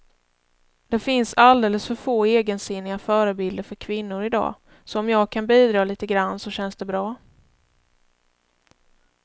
Det finns alldeles för få egensinniga förebilder för kvinnor i dag, så om jag kan bidra lite grann så känns det bra.